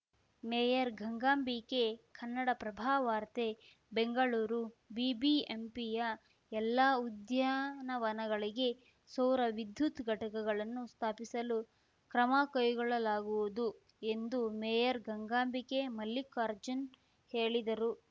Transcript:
mayor Gangambike Kannadaprabha ವಾರ್ತೆ ಬೆಂಗಳೂರು ಬಿಬಿಎಂಪಿಯ ಎಲ್ಲ ಉದ್ಯಾನವನಗಳಿಗೆ ಸೌರ ವಿದ್ಯುತ್‌ ಘಟಕಗಳನ್ನು ಸ್ಥಾಪಿಸಲು ಕ್ರಮ ಕೈಗೊಳ್ಳಲಾಗುವುದು ಎಂದು ಮೇಯರ್‌ ಗಂಗಾಂಬಿಕೆ ಮಲ್ಲಿಕಾರ್ಜುನ್‌ ಹೇಳಿದರು